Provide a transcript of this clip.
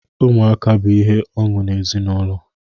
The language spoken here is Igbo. Ụmụaka bụ ihe ọṅụ n'ezinụlọ.